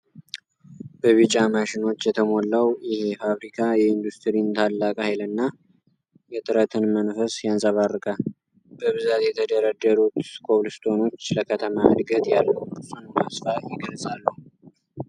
በቢጫ ማሽኖች የተሞላው ይሄ ፋብሪካ የኢንዱስትሪን ታላቅ ኃይልና የጥረትን መንፈስ ያንጸባርቃል። በብዛት የተደረደሩት ኮብልስቶኖች ለከተማ ዕድገት ያለውን ጽኑ ተስፋ ይገልጻሉ።